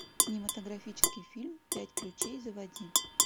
кинематографический фильм пять ключей заводи